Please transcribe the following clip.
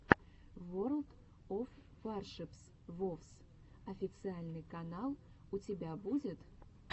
ворлд оф варшипс вовс официальный канал у тебя будет